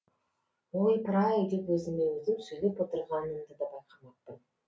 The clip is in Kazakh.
ойпыр ай деп өзіме өзім сөйлеп отырғанымды да байқамаппын